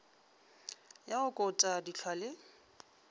ya go kota dihlwa le